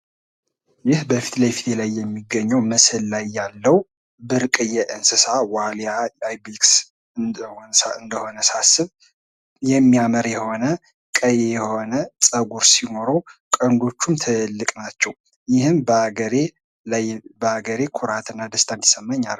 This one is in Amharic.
ይህ በፊት ለፊቴ ላይ የሚገኘው ምስል ላይ ያለው ብርቅዬ እንስሳ ዋልያ አይቤክስ እንደሆነ ሳስብ የሚያምር የሆነ ቀይ የሆነ ፀጉር ያለው ቀንዶችም ትልልቅ ናቸው ይህም በሀገሬ ላይ ኩራትና ደስታ እንዲሰማኝ ያደርጋል።